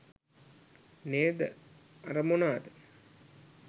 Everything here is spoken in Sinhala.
නේද අර මොනාද